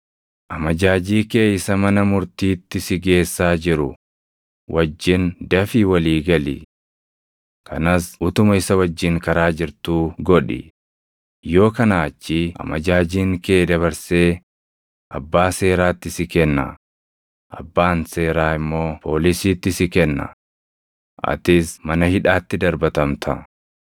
“Amajaajii kee isa mana murtiitti si geessaa jiru wajjin dafii walii gali. Kanas utuma isa wajjin karaa jirtuu godhi; yoo kanaa achii amajaajiin kee dabarsee abbaa seeraatti si kenna; abbaan seeraa immoo poolisiitti si kenna; atis mana hidhaatti darbatamta.